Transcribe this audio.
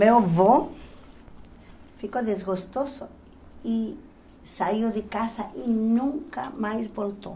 Meu avô ficou desgostoso e saiu de casa e nunca mais voltou.